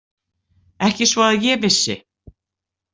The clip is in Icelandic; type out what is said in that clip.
Ekki svo að ég vissi.